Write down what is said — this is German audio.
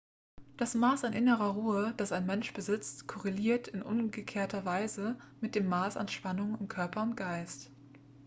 das maß an innerer ruhe das ein mensch besitzt korreliert in umgekehrter weise mit dem maß an spannung in körper und geist